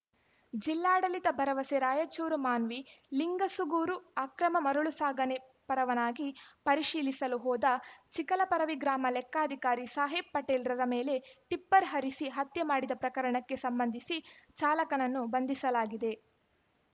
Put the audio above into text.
ಜಿಲ್ಲಾಡಳಿತ ಭರವಸೆ ರಾಯಚೂರುಮಾನ್ವಿಲಿಂಗಸುಗೂರು ಅಕ್ರಮ ಮರುಳು ಸಾಗಣೆ ಪರವನಾಗಿ ಪರಿಶೀಲಿಸಲು ಹೋದ ಚಿಕಲಪರವಿ ಗ್ರಾಮ ಲೆಕ್ಕಾಧಿಕಾರಿ ಸಾಹೇಬ್‌ ಪಟೇಲ್‌ರ ಮೇಲೆ ಟಿಪ್ಪರ್‌ ಹರಿಸಿ ಹತ್ಯೆ ಮಾಡಿದ ಪ್ರಕರಣಕ್ಕೆ ಸಂಬಂಧಿಸಿ ಚಾಲಕನನ್ನು ಬಂಧಿಸಲಾಗಿದೆ